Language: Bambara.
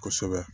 Kosɛbɛ